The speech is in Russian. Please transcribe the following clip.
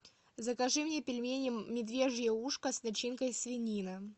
закажи мне пельмени медвежье ушко с начинкой свинина